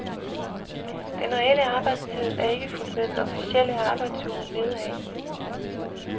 Den reelle arbejdstid er ikke fulgt med den officielle arbejdsuge nedad.